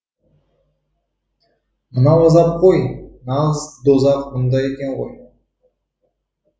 мынау азап қой нағыз дозақ мұнда екен ғой